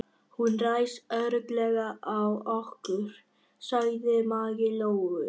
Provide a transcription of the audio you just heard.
Hún ræðst örugglega á okkur, sagði Maggi Lóu.